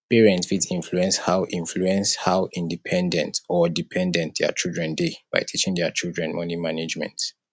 parent fit influence how influence how independent or dependent their children dey by teaching their children money management